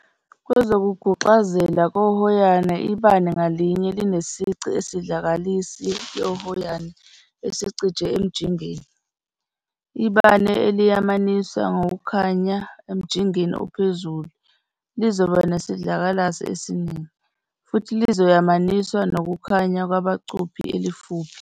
Kwezokuguxazela kohoyana ibane ngalinye linesici sesidlakalasi yohoyana esincike emjingeni- Ibane eliyamaniswa nokukhanya emjingeni ophezulu lizoba nesidlakalasi esiningi, futhi lizoyamaniswa nokukhanya kubangacuphi elifuphi.